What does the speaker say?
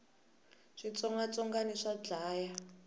switsongwatsongwani swa dlaya